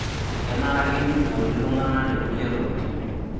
Kenare ake neiboori iltung'ana te kulie tokitin.